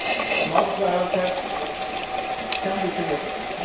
The multiplier effect can be significant.